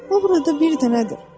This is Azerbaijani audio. O burada bir dənədir.